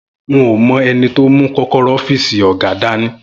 N ò mo̩ e̩ni tó mú kó̩kóró̩ ó̩fíìsì ò̩gá dání